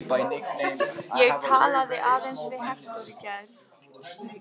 Ég talaði aðeins við Hektor í gær.